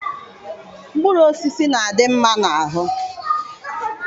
Mkpụrụ osisi na-adị mma n'ahụ